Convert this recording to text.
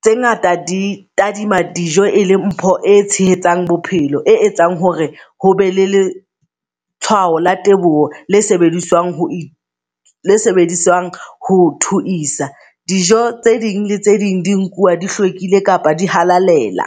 tse ngata di tadima dijo e le mpho e tshehetsang bophelo, e etsang hore hobe le le letshwao la teboho le sebediswang ho le sebediswang thoisa. Dijo tse ding le tse ding di nkuwa di hlwekile kapa di halal ela.